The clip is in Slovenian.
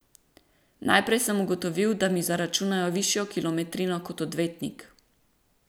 Najprej sem ugotovil, da mi zaračunajo višjo kilometrino kot odvetnik.